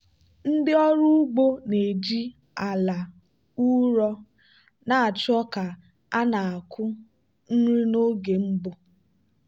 ndị ọrụ ugbo na-eji ala ụrọ na-achọ ka a na-akụ nri n'oge mbụ.